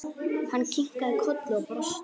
Hann kinkaði kolli og brosti.